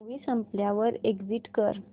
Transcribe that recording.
movie संपल्यावर exit कर